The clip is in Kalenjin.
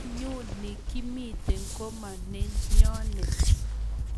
Ngonyuni Kimite, koma nenyonet